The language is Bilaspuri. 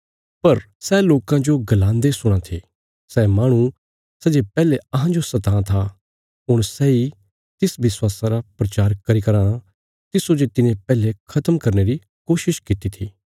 पर सै लोकां जो गलान्दे सुणां थे सै माहणु सै जे पैहले अहांजो सतां था हुण सैई तिस विश्वासा रा प्रचार करी कराँ तिस्सो जे तिने पैहले खत्म करने री कोशिश कित्ती थी